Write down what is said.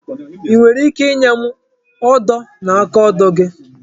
I nwere ike inye m odo na akaodo gị?